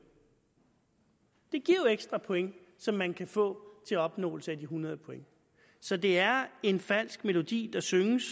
det giver jo ekstra point som man kan få til opnåelse af de hundrede point så det er en falsk melodi der synges